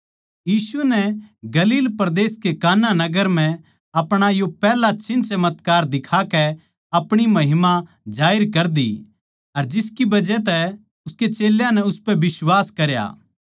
यीशु नै गलील परदेस के काना नगर म्ह अपणा यो पैहला चिन्हचमत्कार दिखाकै अपणी महिमा जाहिर कर दी अर जिसकी बजह तै उसके चेल्यां नै उसपै बिश्वास करया